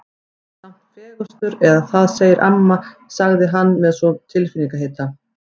Þú ert nú samt fegurstur eða það segir amma sagði hann svo með tilfinningahita.